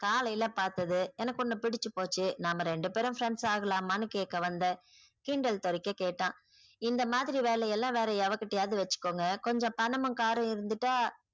காலைல பாத்தது எனக்கு உன்ன பிடிச்சு போச்சு நம்ப ரெண்டு பேரும் friends ஆகலாமானு கேக்க வந்தன் கிண்டல் தரிக்க கேட்டான். இந்த மாதிரி வேலையெல்லாம் வேற யவகிட்டயாவது வெச்சுக்கோங்க கொஞ்சம் பணமும் car உம் இருந்துட்டா